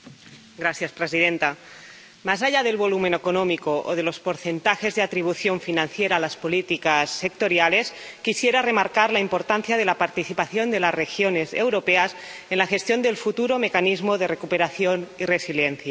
Señora presidenta, más allá del volumen económico o de los porcentajes de atribución financiera a las políticas sectoriales, quisiera remarcar la importancia de la participación de las regiones europeas en la gestión del futuro Mecanismo de Recuperación y Resiliencia.